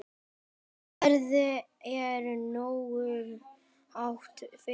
Verðið er nógu hátt fyrir.